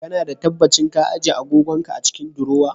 Kana da tabbacin ka ajiye agogon ka a cikin diruwa?